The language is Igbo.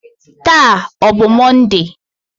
Taa ọ bụ Mọnde?